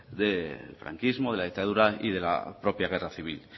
del franquismo de la dictadura y de la propia guerra civil